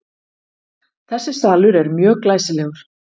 Þessi salur er mjög glæsilegur.